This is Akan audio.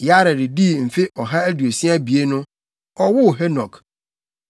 Yared dii mfe ɔha aduosia abien no, ɔwoo Henok.